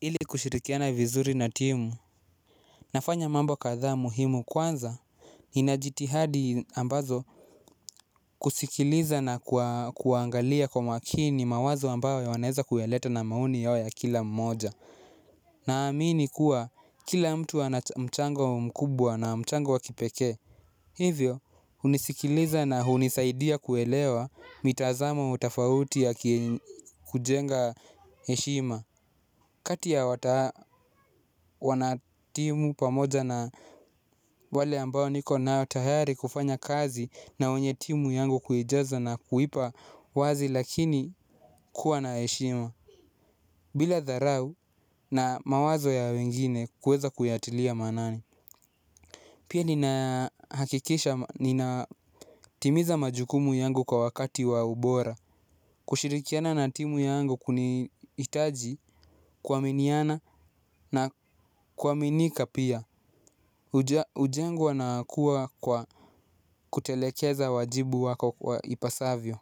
Ili kushirikiana vizuri na timu nafanya mambo kadhaa muhimu kwanza nina jitihadi ambazo kusikiliza na kuangalia kwa makini mawazo ambayo wanaeza kuyaleta na maoni yao ya kila mmoja naamini kuwa kila mtu ana mchango mkubwa na mchango wa kipekee hivyo hunisikiliza na hunisaidia kuelewa mitazamo tofauti ya kujenga heshima. Kati ya wanatimu pamoja na wale ambao niko nao tayari kufanya kazi na wenye timu yangu kuijaza na kuipa wazi lakini kuwa na heshima. Bila dharau na mawazo ya wengine kueza kuyatilia maanani. Pia ninahakikisha ninatimiza majukumu yangu kwa wakati wa ubora. Kushirikiana na timu yangu kunihitaji kuaminiana. Na kuaminika pia hujengwa na kuwa kwa kutelekeza wajibu wako kwa ipasavyo.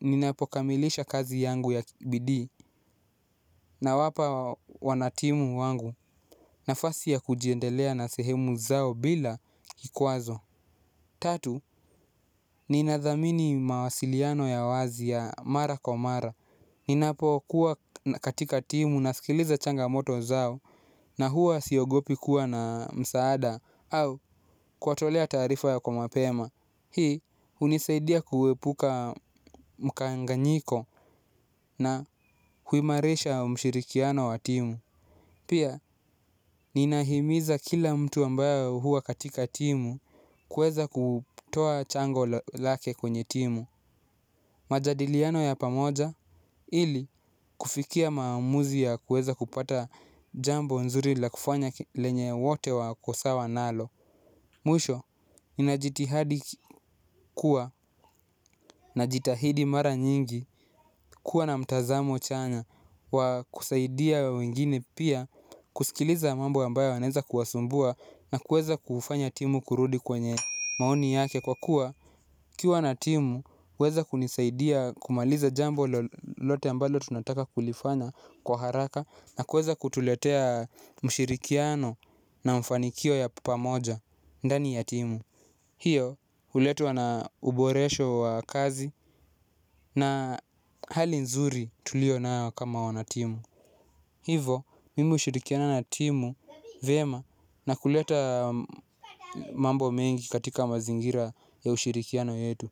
Ninapokamilisha kazi yangu ya bidii. Nawapa wanatimu wangu nafasi ya kujiendelea na sehemu zao bila kikwazo. Tatu, ninadhamini mawasiliano ya wazi ya mara kwa mara. Ninapokuwa katika timu nasikiliza changamoto zao. Na huwa siogopi kuwa na msaada au kuwatolea taarifa ya kwa mapema. Hii hunisaidia kuepuka mkanganyiko na huimarisha mshirikiano wa timu. Pia ninahimiza kila mtu ambayo huwa katika timu kuweza kutoa chango lake kwenye timu. Majadiliano ya pamoja ili kufikia maamuzi ya kuweza kupata jambo nzuri la kufanya lenye wote wako sawa nalo. Mwisho, nina jitihadi kuwa najitahidi mara nyingi kuwa na mtazamo chanya wa kusaidia wengine pia kusikiliza mambo ambayo yanaeza kuwasumbua na kuweza kufanya timu kurudi kwenye maoni yake kwa kuwa ukiwa na timu huweza kunisaidia kumaliza jambo lolote ambalo tunataka kulifanya kwa haraka na kuweza kutuletea mshirikiano na mfanikio ya pamoja ndani ya timu. Hiyo huletwa na uboresho wa kazi na hali nzuri tulio nayo kama wanatimu. Hivo mimi hushirikiana na timu vyema na kuleta mambo mengi katika mazingira ya ushirikiano yetu.